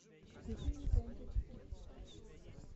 включи мне тнт четыре на тв